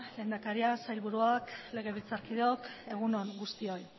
lehendakaria sailburuak legebiltzarkideok egun on guztioi